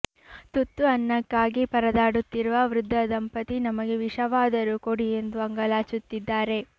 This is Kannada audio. ತುತ್ತು ಅನ್ನಕ್ಕಾಗಿ ಪರದಾಡುತ್ತಿರುವ ವೃದ್ಧ ದಂಪತಿ ನಮಗೆ ವಿಷವಾದರೂ ಕೊಡಿ ಎಂದು ಅಂಗಲಾಚುತ್ತಿದ್ದಾರೆ